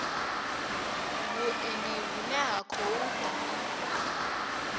vhuendi vhune ha khou ḓa